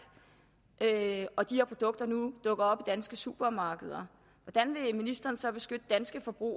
og de her produkter nu dukker op i danske supermarkeder hvordan vil ministeren så beskytte danske forbrugere